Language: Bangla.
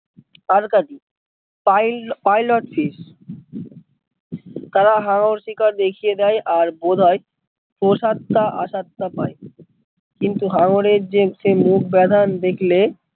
আর কাদি পাইল পাইল হচ্ছে, তারা হাঙ্গর শিকার দেখিয়ে দেয় আর বোধয় কোসত্তা আসত্তা পায় কিন্তু হাঙ্গর এর যে মুখ বাথান দেখলে